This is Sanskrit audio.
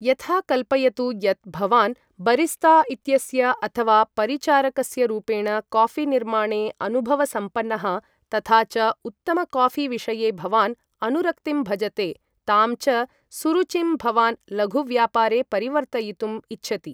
यथा, कल्पयतु यत् भवान् बरिस्ता इत्यस्य अथ वा परिचारकस्य रूपेण कॉफीनिर्माणे अनुभवसंपन्नः तथा च उत्तमकॉफीविषये भवान् अनुरक्तिं भजते तां च सुरुचिं भवान् लघुव्यापारे परिवर्तयितुम् इच्छति।